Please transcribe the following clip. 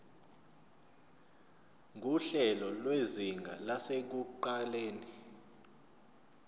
nguhlelo lwezinga lasekuqaleni